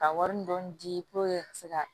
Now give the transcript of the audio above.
Ka wari dɔɔni di ka se ka